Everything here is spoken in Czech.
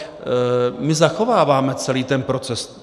My zachováváme celý ten proces.